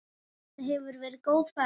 Þetta hefur verið góð ferð.